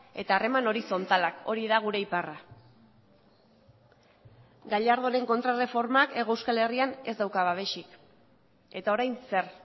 eta harreman horizontalak hori da gure iparra gallardonen kontraerreformak hego euskal herrian ez dauka babesik eta orain zer